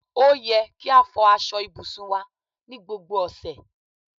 Ó yẹ kí a fò aṣọ ibùsùn wá ní gbogbo ọ̀sẹ̀